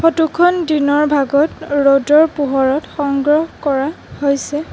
Photo খন দিনৰ ভাগত ৰ'দৰ পোহৰত সংগ্ৰহ কৰা হৈছে।